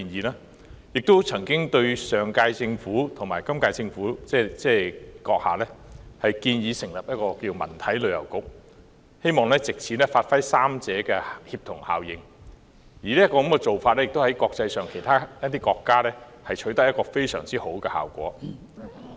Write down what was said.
我曾經向上屆政府和本屆政府建議成立"文體旅遊局"，希望藉此發揮三者的協同效應，而這做法在其他國家亦取得非常好的效果。